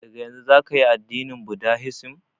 Daga yanzun zaka yi addinin budahisim